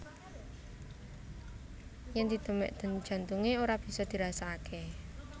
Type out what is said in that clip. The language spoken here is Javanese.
Yèn didemèk denyut jantungé ora bisa dirasakaké